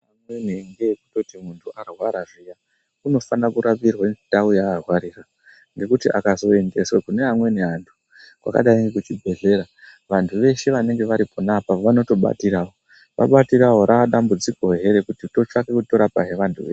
Amweni ngeekutoti muntu arwara zviya unosana kurapirwe ndau yaarwaria ngekuti akazoendeswa kune amweni antu kwakadai ngekuchibhedhlera vantu veshe vanenge vari ponapo vanotobatirawo vabatirawo radambudziko he rekuti totsvake kutora pai vantu